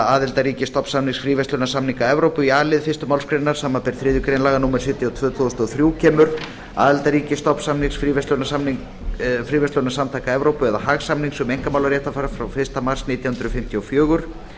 aðildarríkis stofnsamnings fríverslunarsamtaka evrópu í a lið fyrstu málsgrein samanber þriðju grein laga númer sjötíu og tvö tvö þúsund og þrjú kemur aðildarríkis stofnsamnings fríverslunarsamtaka evrópu eða haagsamnings um einkamálaréttarfar frá fyrsta mars nítján hundruð fimmtíu og